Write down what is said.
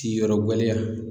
Ti yɔrɔ gɛlɛya.